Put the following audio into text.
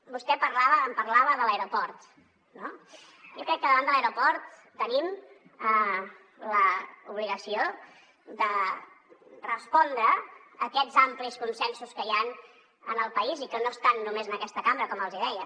vostè em parlava de l’aeroport no jo crec que davant de l’aeroport tenim l’obligació de respondre a aquests amplis consensos que hi han en el país i que no estan només en aquesta cambra com els hi deia